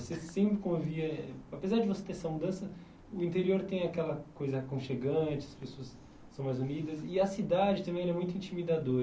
Você sempre convia eh, apesar de você ter essa mudança, o interior tem aquela coisa aconchegante, as pessoas são mais unidas e a cidade também ela é muito intimidadora.